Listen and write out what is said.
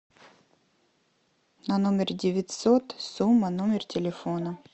на номер девятьсот сумма номер телефона